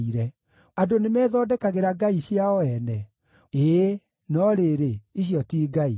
Andũ nĩmethondekagĩra ngai ciao ene? Ĩĩ, no rĩrĩ, icio ti ngai!”